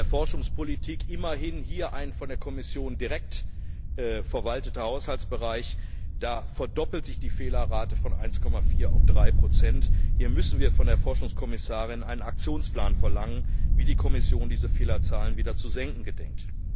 In der Forschungspolitik immerhin ein von der Kommission direkt verwalteter Haushaltsbereich verdoppelt sich die Fehlerrate von 1,4 auf 3 Hier müssen wir von der Forschungskommissarin einen Aktionsplan verlangen, wie die Kommission diese Fehlerzahlen wieder zu senken gedenkt.